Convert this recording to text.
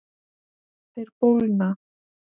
Þeir bólgna.